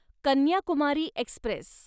Kanyakumari Express